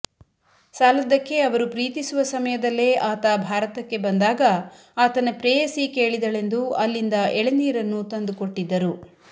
ಸಾಲದ್ದಕ್ಕೆ ಅವರು ಪ್ರೀತಿಸುವ ಸಮಯದಲ್ಲೇ ಆತ ಭಾರತಕ್ಕೆ ಬಂದಾಗ ಆತನ ಪ್ರೇಯಸಿ ಕೇಳಿದಳೆಂದು ಅಲ್ಲಿಂದ ಎಳೆನೀರನ್ನು ತಂದುಕೊಟ್ಟಿದ್ದರು